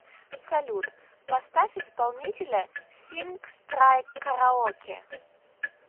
салют поставь исполнителя синг страйк караоке